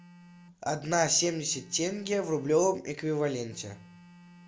одна семьдесят тенге в рублевом эквиваленте